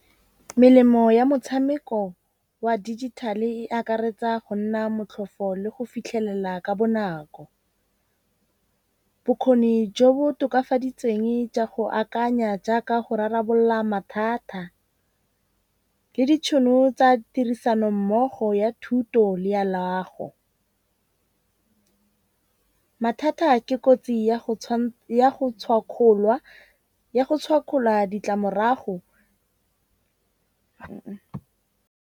Melemo ya motshameko wa digital-e e akaretsa go nna motlhofo le go fitlhelela ka bonako. Bokgoni jo bo tokafaditsweng jwa go akanya jaaka go rarabolola mathata le ditšhono tsa tirisano mmogo ya thuto le ya loago. Mathata ke kotsi ya go ya go tshwakgola ditlamorago .